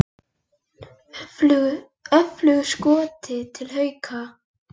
Öflugur Skoti til Hauka